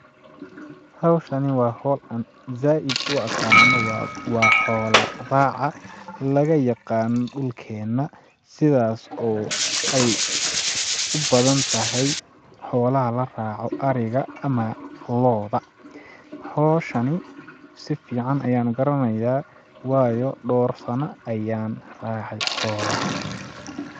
Hawshani waa hawl aan zaaid u aqaano ,waa..waa xoola raaca laga yaqaano dhulkeena sidaas oo ay u badan tahay xoolaha la raaco ariga ama looda ,hawshani si fiican ayaan u garanayaa waayo dhoor sano ayaan raacay xoolaha .